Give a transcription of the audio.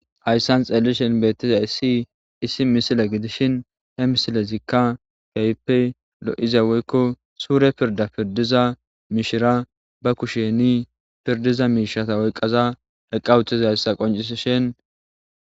hayssan xeellishen beettiza issi issi misile gidishin he misilezikka kaype lo7ize woykko suure pirda pirdiza mishira ba kusheni pirdiza miishata oyqqaza heqqawuthiza hayssa qoncisishin